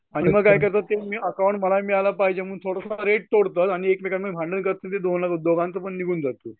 आणि मग काय करतात ते अकाउंट मला मिळायला पाहिजे म्हणून एकमेकांना भांडण करतात दोघांचं पण निघून जातं.